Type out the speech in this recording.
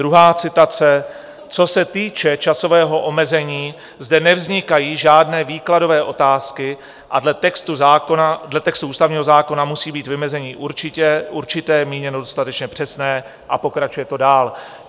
Druhá citace: Co se týče časového omezení, zde nevznikají žádné výkladové otázky a dle textu ústavního zákona musí být vymezení určité míněno dostatečně přesné... a pokračuje to dál.